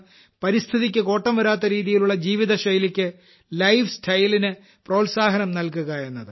പരിസ്ഥിതിക്ക് കോട്ടം വരാത്തരീതിയിലുള്ള ജീവിതശൈലിക്ക് ലൈഫ്റ്റ്സ്റ്റൈൽ ന് പ്രോത്സാഹനം നൽകുക എന്നത്